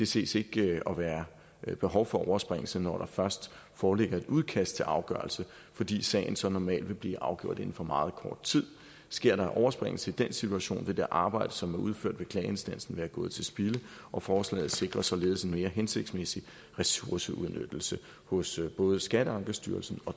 ses ikke at være behov for overspringelse når der først foreligger et udkast til afgørelse fordi sagen så normalt vil blive afgjort inden for meget kort tid sker der en overspringelse i den situation vil det arbejde som er udført ved klageinstansen være gået til spilde og forslaget sikrer således en mere hensigtsmæssig ressourceudnyttelse hos både skatteankestyrelsen og